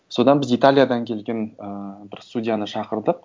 содан біз италиядан келген ыыы бір судьяны шақырдық